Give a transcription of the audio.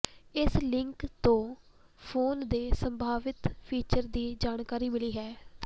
ਇਸ ਲੀਕ ਤੋਂ ਫੋਨ ਦੇ ਸੰਭਾਵਿਤ ਫੀਚਰ ਦੀ ਜਾਣਕਾਰੀ ਮਿਲੀ ਹੈ